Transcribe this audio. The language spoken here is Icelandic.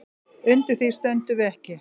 Undir því stöndum við ekki